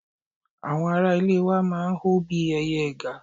Àwọn ará ilé wa ń hó bí ẹyẹ ẹ̀gà